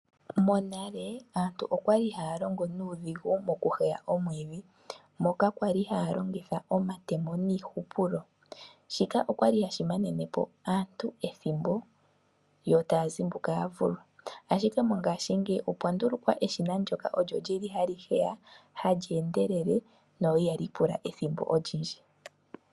Monale aantu okwali haya longo nuudhigu moku heya omwiidhi moka kwali haya longitha iihupulo shika okwali hashi manenepo aantu ethimbo yo taya zimbuka yavulwa. Mongashingeya opwa ndulukwa eshina ndoka olyo lili hali heya hali endelele no ihali pula ethimbo olindji.